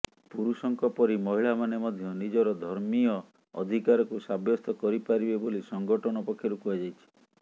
ପୁରୁଷଙ୍କ ପରି ମହିଳାମାନେ ମଧ୍ୟ ନିଜର ଧର୍ମୀୟ ଅଧିକାରକୁ ସାବ୍ୟସ୍ତ କରିପାରିବେ ବୋଲି ସଂଗଠନ ପକ୍ଷରୁ କୁହାଯାଇଛି